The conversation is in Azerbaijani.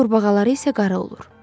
Quru qurbağaları isə qara olur.